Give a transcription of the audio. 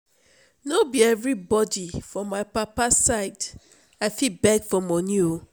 no be every body for my papa side i fit beg for money oo